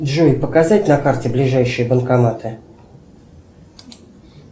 джой показать на карте ближайшие банкоматы